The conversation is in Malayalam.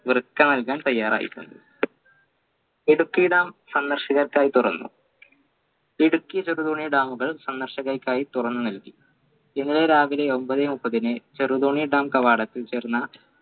വൃക്ക നൽകാൻ തയ്യാറായിട്ടുണ്ട് ഇടുക്കി dam സന്ദർശകർക്കായി തുറന്നു ഇടുക്കി ചെറുതോണി dam കൾ സന്ദർശകർക്കായി തുറന്നു നൽകി ഇന്നലെ രാവിലെ ഒമ്പതേ മുപ്പതിന് ചെറുതോണി dam കവാടത്തിൽ ചേർന്ന